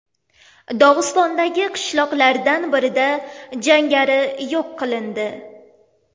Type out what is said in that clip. Dog‘istondagi qishloqlardan birida jangari yo‘q qilindi.